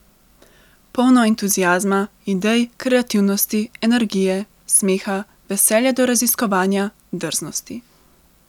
Polno entuziazma, idej, kreativnosti, energije, smeha, veselja do raziskovanja, drznosti.